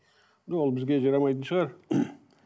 бізге жарамайтын шығар